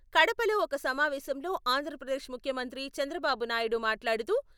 కడపలో ఒక సమావేశంలో ఆంధ్రప్రదేశ్ ముఖ్యమంత్రి చంద్రబాబు నాయుడు మాట్లాడుతూ..